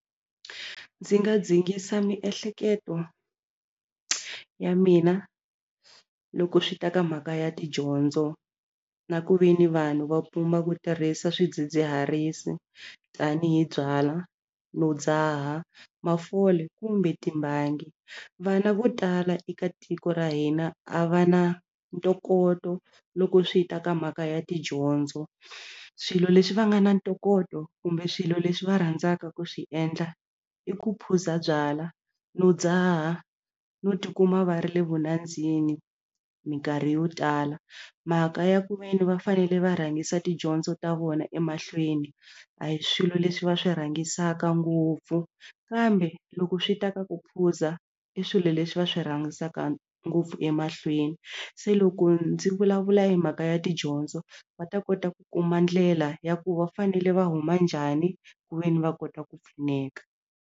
Ndzi nga dzikisa miehleketo ya mina loko swi ta ka mhaka ya tidyondzo na ku ve ni vanhu va pima ku tirhisa swidzidziharisi tanihi byala no dzaha mafole kumbe timbangi vana vo tala eka tiko ra hina a va na ntokoto loko swi ta ka mhaka ya tidyondzo swilo leswi va nga na ntokoto kumbe swilo leswi va rhandzaka ku swi endla i ku phuza byala no dzaha no tikuma va ri le vunandzini minkarhi yo tala mhaka ya ku ve ni va fanele va rhangisa tidyondzo ta vona emahlweni a hi swilo leswi va swi rhangisaka ngopfu kambe loko swi ta ka ku phuza i swilo leswi va swi rhangisiwaka ngopfu emahlweni se loko ndzi vulavula hi mhaka ya tidyondzo va ta kota ku kuma ndlela ya ku va fanele va huma njhani ku ve ni va kota ku pfuneka.